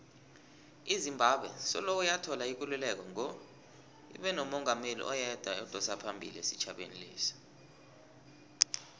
izimbabwe soloyathola ikululeko ngo ibenomungameli oyedwa odosaphambili isitjhaba lesa